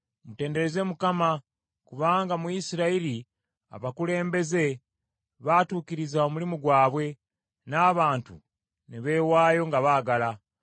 “Mutendereze Mukama kubanga mu Isirayiri abakulembeze baatuukiriza omulimu gwabwe n’abantu ne beewaayo nga baagala.